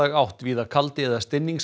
átt víða kaldi eða